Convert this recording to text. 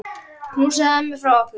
Knúsaðu ömmu frá okkur.